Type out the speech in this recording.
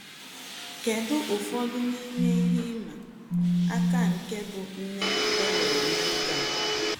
Kedu ụfọdụ n’ime ihe ịma aka nke ịbụ nne è nwerè n’ogé a?